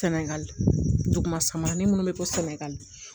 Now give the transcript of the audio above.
Sɛnɛgali duguma samanin minnu bɛ bɔ sɛnɛgali